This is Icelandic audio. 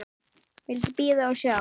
Vildi bíða og sjá.